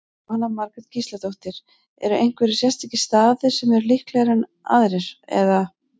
Jóhanna Margrét Gísladóttir: Eru einhverjir sérstakir staðir sem eru líklegri aðrir, eða?